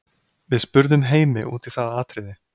Við spurðum Heimi út í það atriði.